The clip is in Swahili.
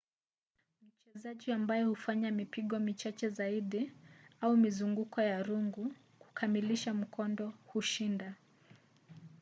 mchezaji ambaye hufanya mipigo michache zaidi au mizunguko ya rungu kukamilisha mkondo hushinda